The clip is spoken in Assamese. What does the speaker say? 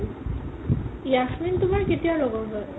যাস্মিন তুমাৰ কেতিয়া লগৰ হয়?